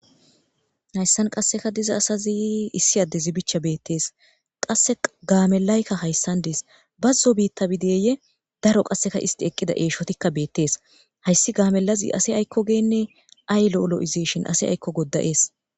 Hayssan qasseka diza asazi issi addezi bichcha beettees. Qasse gaamellaykka hayssan dees. bazzo biitta bideeye daro qasseka isti eqqida eeshotikka beettes. Hayssi gaamellazi ase aykko geenne ay lo'o lo'izeeshin ase aykko godda'ees.